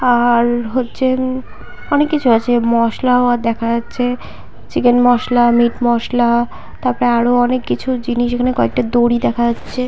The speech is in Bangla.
আর-র-র হচ্ছে উম অনেক কিছু আছে। মশলাও দেখা যাচ্ছে চিকেন মশলা মীট মশলা । তারপরে আরো অনেক কিছু জিনিস এইখানে একটা দড়ি দেখা যাচ্ছে।